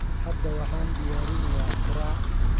Hadda waxaan diyaarinayaa quraac